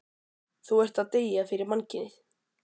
Þú ert að deyja fyrir mannkynið.